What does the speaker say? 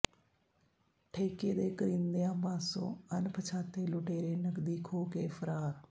ਠੇਕੇ ਦੇ ਕਰਿੰਦਿਆਂ ਪਾਸੋਂ ਅਣਪਛਾਤੇ ਲੁਟੇਰੇ ਨਕਦੀ ਖੋਹ ਕੇ ਫ਼ਰਾਰ